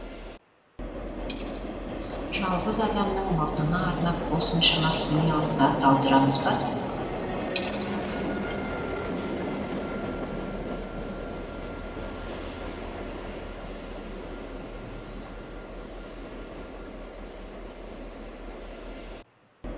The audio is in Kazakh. жалғыз адамның мұрнына арнап осыншама химиялық зат алдырамыз ба